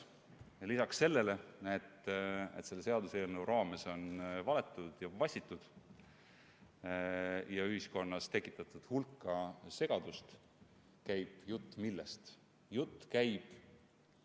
Lisaks sellele, et selle seaduseelnõu menetlemise raames on valetatud ja vassitud ning ühiskonnas hulka segadust tekitatud, käib jutt – millest?